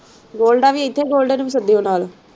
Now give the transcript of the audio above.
ਗੋਲਡਾ ਵੀ ਇੱਥੇ ਗੋਲਡੇ ਨੂੰ ਵੀ ਸੱਦਿਉ ਨਾਲ।